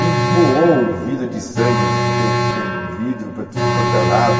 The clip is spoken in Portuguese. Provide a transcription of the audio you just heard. E voou o vidro de sangue com com vidro para tudo quanto é lado.